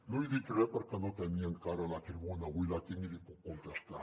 no he dit res perquè no tenia encara la tribuna avui la tinc i li puc contestar